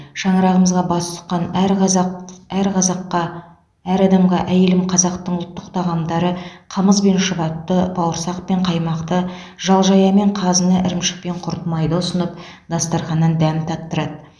шаңырағымызға бас сұққан әр қазақ әр қазаққа әр адамға әйелім қазақтың ұлттық тағамдары қымыз бен шұбатты бауырсақ пен қаймақты жал жая мен қазыны ірімшік пен құрт майды ұсынып дастарханнан дәм таттырады